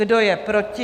Kdo je proti?